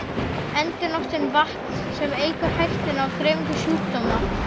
Endurnotkun vatns, sem eykur hættuna á dreifingu sjúkdóma.